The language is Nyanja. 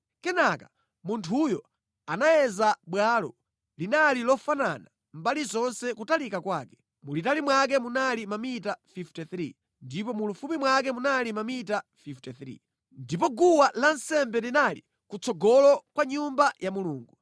Kenaka munthuyo anayeza bwalo; linali lofanana mbali zonse kutalika kwake, mulitali mwake munali mamita 53, ndipo mulifupi mwake munali mamita 53. Ndipo guwa lansembe linali kutsogolo kwa Nyumba ya Mulungu.